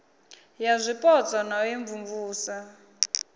ya zwipotso na u imvumvusa